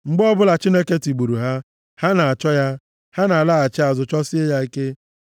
Mgbe ọbụla Chineke tigburu ha, ha na-achọ ya; ha na-alaghachi azụ, chọsie ya ike.